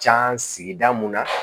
Can sigida mun na